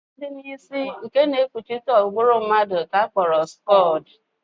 Ọkpụkpụ dị n'isi nke na-ekpuchite ụbụrụ mmadụ ka a kpọrọ skọọl